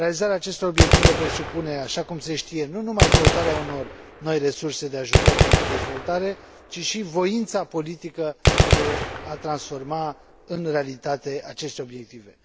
Realizarea acestor obiective presupune, așa cum se știe, nu numai căutarea unor noi resurse de ajutor pentru dezvoltare, ci și voința politică de a transforma în realitate aceste obiective.